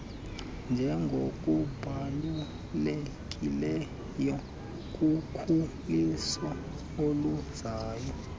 njengokubalulekileyo kukhuliso oluzayo